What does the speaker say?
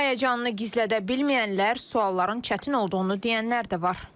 Həyəcanını gizlədə bilməyənlər, sualların çətin olduğunu deyənlər də var.